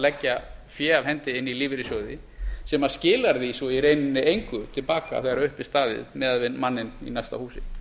leggja fé á hendi inn í lífeyrissjóði sem skilar því svo í rauninni engu til baka þegar upp er staðið miðað við manninn í næsta húsi